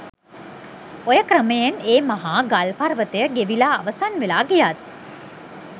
ඔය ක්‍රමයෙන් ඒ මහා ගල්පර්වතය ගෙවිලා අවසන් වෙලා ගියත්